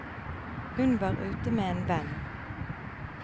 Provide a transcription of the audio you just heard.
Hun var ute med en venn.